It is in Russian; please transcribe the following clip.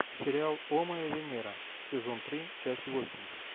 сериал о моя венера сезон три часть восемь